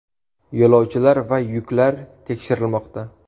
Yo‘lovchilar va yuklar tekshirilmoqda.